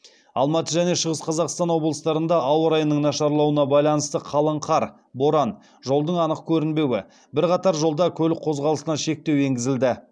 алматы және шығыс қазақстан облыстарында ауа райының нашарлауына байланысты бірқатар жолда көлік қозғалысына шектеу енгізілді